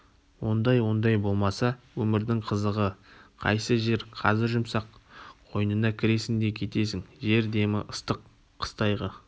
ондай-ондай болмаса өмірдің қызығы қайсы жер қазір жүмсақ қойнына кіресің де кетесің жер демі ыстық қыстайғы